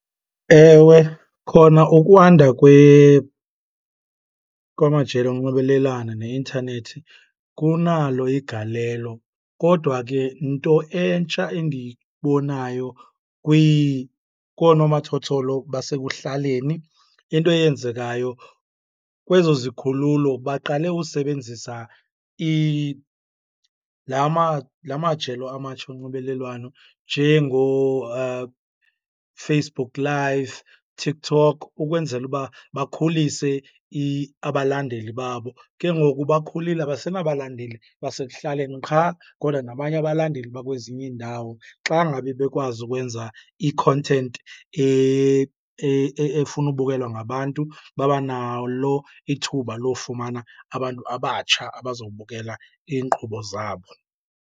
Ewe, khona ukwanda kwamajelo onxibelelano neintanethi kunalo igalelo. Kodwa ke nto entsha endiyibonayo konomathotholo basekuhlaleni, into eyenzekayo kwezo zikhululo baqale usebenzisa la la majelo amatsha onxibelelwano Facebook Live, TikTok, ukwenzela uba bakhulise abalandeli babo. Ke ngoku bakhulile abasenabalandeli basekuhlaleni qha kodwa nabanye abalandeli bakwezinye iindawo. Xa ngabe bekwazi ukwenza i-content efuna ubukelwa ngabantu, babanalo ithuba lofumana abantu abatsha abazobukela iinkqubo zabo.